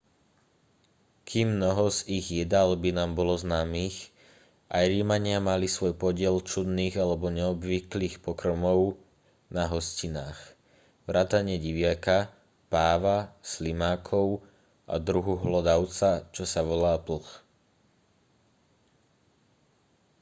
kým mnoho z ich jedál by nám bolo známych aj rimania mali svoj podiel čudných alebo neobvyklých pokrmov na hostinách vrátane diviaka páva slimákov a druhu hlodavca čo sa volá plch